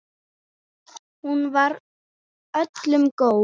Hún var öllum góð.